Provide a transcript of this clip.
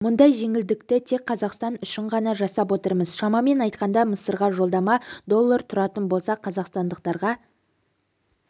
мұндай жеңілдікті тек қазақстан үшін ғана жасап отырмыз шамамен айтқанда мысырға жолдама доллар тұратын болса қазақстандықтарға